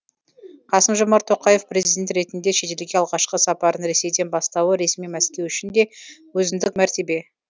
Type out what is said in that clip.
қасым жомарт тоқаев президент ретінде шетелге алғашқы сапарын ресейден бастауы ресми мәскеу үшін де өзіндік мәртебе